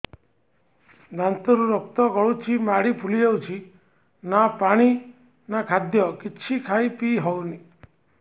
ଦାନ୍ତ ରୁ ରକ୍ତ ଗଳୁଛି ମାଢି ଫୁଲି ଯାଉଛି ନା ପାଣି ନା ଖାଦ୍ୟ କିଛି ଖାଇ ପିଇ ହେଉନି